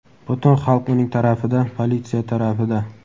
Butun xalq uning tarafida, politsiya tarafida.